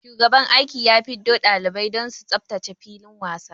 Shugaban aiki ya fiddo dalibai don su tsaftace filin wasa.